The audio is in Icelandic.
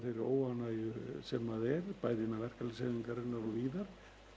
óánægju sem er bæði innan verkalýðshreyfingarinnar og víðar